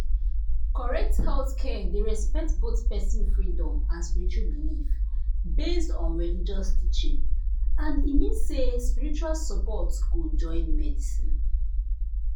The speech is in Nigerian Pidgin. correct healthcare dey respect both person freedom and spiritual belief based on religious teaching and e mean say spiritual support go join medicine